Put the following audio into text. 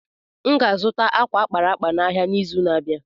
M ga-azụta ákwà a kpara akpa n’ahịa n’izu na-abịa.